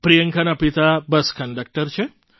પ્રિયંકાના પિતા bus conductor છે